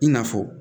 I n'a fɔ